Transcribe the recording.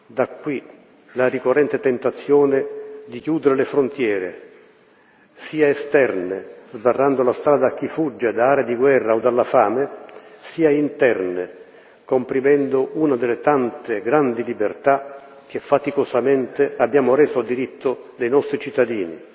Da qui la ricorrente tentazione di chiudere le frontiere, sia esterne, sbarrando la strada a chi fugge da aree di guerra o dalla fame, sia interne, comprimendo una delle tante grandi libertà che, faticosamente, abbiamo reso diritto dei nostri cittadini.